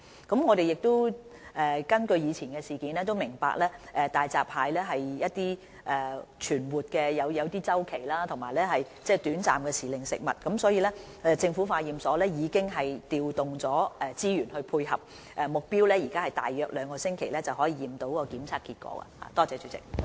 參考以往發生的事件，我們明白大閘蟹的存活有周期，是短暫時令食物，所以政府化驗所已調動資源配合，現時的目標是在約兩星期內得出檢驗結果。